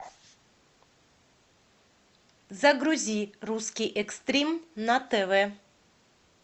загрузи русский экстрим на тв